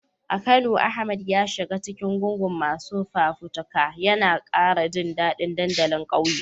A Kano, Ahmad ya shiga cikin gungun masu fafutuka, yana kara jin dadin dandalin kauye.